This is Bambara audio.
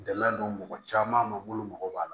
Dɛmɛ don mɔgɔ caman ma olu mago b'a la